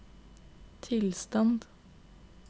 tilstand